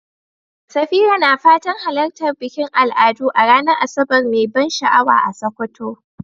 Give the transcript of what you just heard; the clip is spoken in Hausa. Safira na fatan halartar bikin al'adu a ranar Asabar mai ban sha'awa a Sokoto.